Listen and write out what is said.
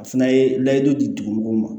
A fana ye layidu di dugu mɔgɔw ma